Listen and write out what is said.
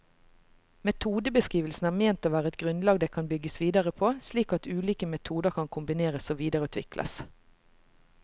Metodebeskrivelsene er ment å være et grunnlag det kan bygges videre på, slik at ulike metoder kan kombineres og videreutvikles.